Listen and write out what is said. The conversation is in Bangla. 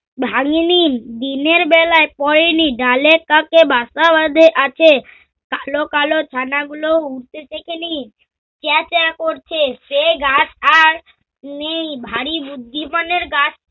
ভাঙ্গিনি। দিনের বেলায় পরেনি ডালে তাঁকে বাসা বাঁধে আছে। কালো-কালো ছানাগুলো উড়তে শেখে নি। চ্যাঁ চ্যাঁ করছে। সে গাছ আর নেই ভারি বুদ্ধিমানের গাছ